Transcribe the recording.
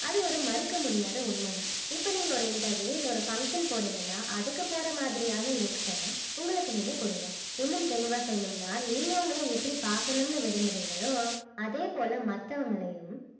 அது ஒரு மறுக்க முடியாத உண்மைதான் இப்ப நீங்க ஒரு interview இல்ல ஒரு function போறீங்கன்னா அதுக்கு போற மாதிரியான looks அ உங்களுக்கு நீங்க கொடுங்க இன்னும் தெளிவா சொல்லணும்னா நீங்க உங்களை எப்படி பார்க்கணும்னு விரும்புறீங்களோ அதே போல மத்தவங்களையும்